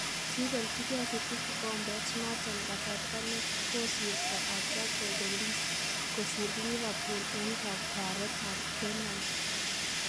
Kiibeljikee City kikombet noton kasarta nekosirtoo atya kobeliis kosiir Liverpool en kakwaaret ab penalti